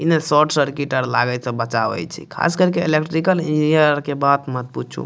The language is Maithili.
इने शोर्ट सर्किट आर लागे से बचावे छे ख़ास करके इलेक्ट्रिकल इंजीनियर आर बात मत पूछूं।